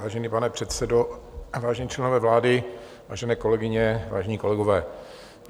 Vážený pane předsedo, vážení členové vlády, vážené kolegyně, vážení kolegové.